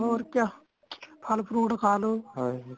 ਹੋਰ ਕਯਾ ਫਲ਼ fruit ਖਾਂ ਲਵੋਂ